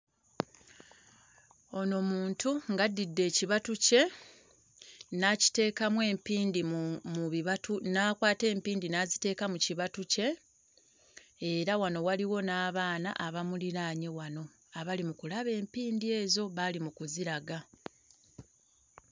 Ono muntu ng'addidde ekibatu kye n'akiteekamu empindi mu bibatu n'akwata empindi n'aziteeka mu kibatu kye era wano waliwo n'abaana abamuliraanye wano abali mu kulaba empindi ezo; b'ali mu kuziraga.